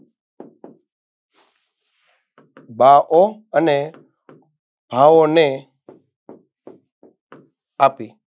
બાહો અને ભાવોને આપી